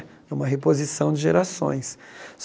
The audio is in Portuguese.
É uma reposição de gerações.